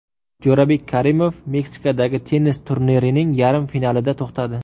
Jo‘rabek Karimov Meksikadagi tennis turnirining yarim finalida to‘xtadi.